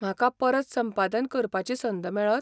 म्हाका परत संपादन करपाची संद मेळत?